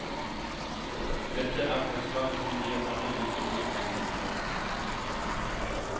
Dette er forslaget som gir alle like mye penger, sier hun.